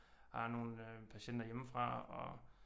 Har nogle patienter hjemmefra og